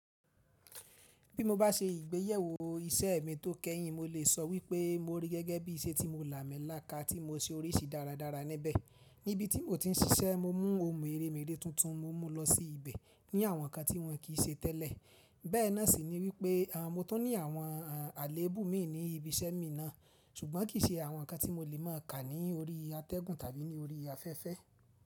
Bí mo bá se ìgbéyẹ̀wò iṣẹ́ mi tó kẹ́yìn, mo lè sọ wípé mo rí gẹ́gẹ́ bí iṣẹ́ tí mo làmi là ká tí mo se oríṣìí dáradára níbẹ̀. Níbi tí mo ti ń ṣiṣẹ́ mo mú ohun mèremère tuntun mo mú lọ sí ibẹ̀ ní àwọn nkán tí wọ́n kì í ṣe tẹ́lẹ̀. Bẹ́ẹ̀ náà sì ni wípé mo tó ní àwọn àléébù mi ní ibi iṣẹ́ mi náà, ṣùgbọ́n kì í ṣe àwọn nkán tí mo lè má a kà ní orí atẹ́gùn tàbí ní orí afẹ́fẹ́